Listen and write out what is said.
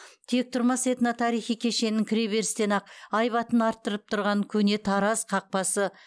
тектұрмас этно тарихи кешенінің кіре берістен ақ айбатын арттырып тұрған көне тараз қақпасы